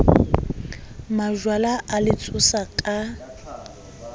majwala a le tshosa ka